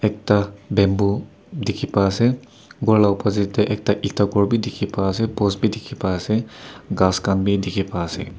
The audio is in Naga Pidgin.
ekta bamboo dikhi pai ase ghor la opposite de ekta eeta ghor b dikhi pai ase post b dikhi pai ase ghas khan b dikhi pai ase.